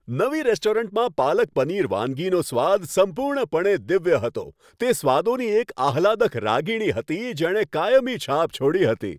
નવી રેસ્ટોરન્ટમાં પાલક પનીર વાનગીનો સ્વાદ સંપૂર્ણપણે દિવ્ય હતો, તે સ્વાદોની એક આહલાદક રાગીણી હતી, જેણે કાયમી છાપ છોડી હતી.